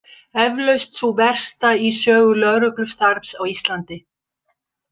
Eflaust sú versta í sögu lögreglustarfs á Íslandi.